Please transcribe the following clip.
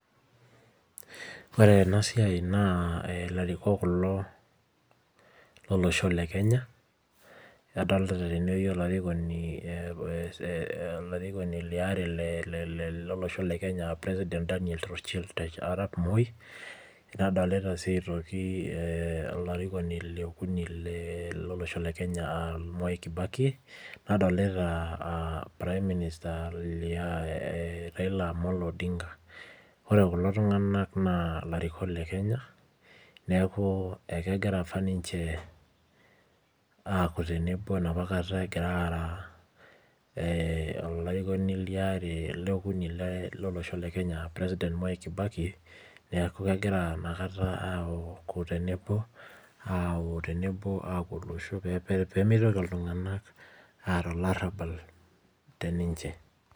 Ore enasiai naa ilarikok kulo lolosho le Kenya, adolta tenewei olarikoni, olarikoni liare lolosho le Kenya ah president Daniel Torochitri Arap Moi, nadolita si aitoki olarikoni liokuni lolosho le Kenya ah Mwai Kibaki, nadolita prime minister Raila Amolo Odinga. Ore kulo tung'anak naa ilarikok le Kenya, neeku ekegira apa ninche aku tenebo enapa kata egira aara olarikoni liare liokuni lolosho le Kenya president Mwai Kibaki, neku kegira nakata aku tenebo, aku tenebo au olosho pemitoki iltung'anak aata olarrabal teninche.